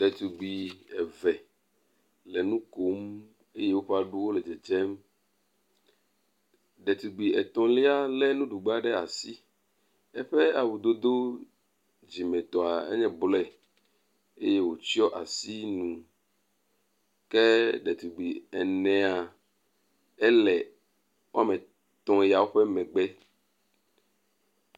Ɖetugbui eve le nu kom eye woƒe aɖuwo le dzedzem. Ɖetugbui etɔ̃lia lé nuɖugba ɖe asi, eƒe awudodo dzimetɔ enye blɔe eye wòtsyɔ asi nu. ke ɖetugbui enea ele woame etɔ̃ yawo ƒe megbe.